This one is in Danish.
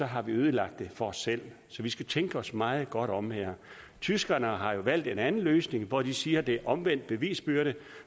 har vi ødelagt det for os selv så vi skal tænke os meget godt om her tyskerne har jo valgt en anden løsning hvor de siger at det er omvendte bevisbyrde